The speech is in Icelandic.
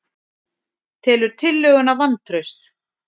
Telur tillöguna vantraust